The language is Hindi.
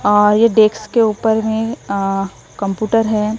अ ये डेक्स के ऊपर में अं कंप्यूटर है।